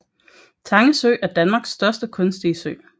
Tange Sø er Danmarks største kunstige sø